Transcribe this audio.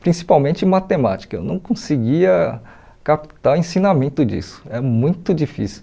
principalmente matemática, eu não conseguia captar o ensinamento disso, é muito difícil.